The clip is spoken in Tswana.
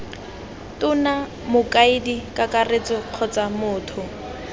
tona mokaedi kakaretso kgotsa motho